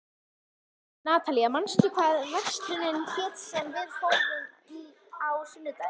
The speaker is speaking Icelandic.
Natalía, manstu hvað verslunin hét sem við fórum í á sunnudaginn?